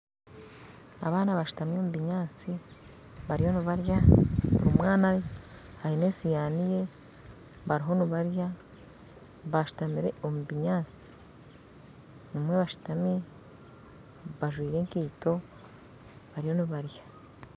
Abaana bashutami omu binyaatsi bariyo nibarya buri mwana aine esihaani ye bariyo nibarya bashutamire omu binyaatsi bamwe bashuutami bajwire ekaito bariyo nibarya